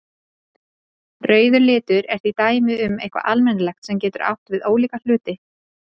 Rauður litur er því dæmi um eitthvað almennt sem getur átt við ólíka hluti.